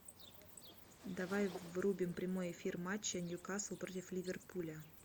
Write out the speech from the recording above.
давай врубим прямой эфир матча ньюкасл против ливерпуля